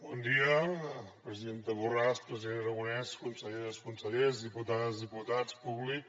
bon dia presidenta borràs president aragonès conselleres consellers diputades diputats públic